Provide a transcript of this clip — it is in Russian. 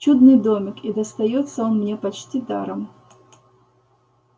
чудный домик и достаётся он мне почти даром